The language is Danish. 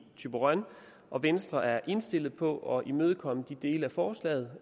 thyborøn og venstre er også indstillet på at imødekomme de dele af forslaget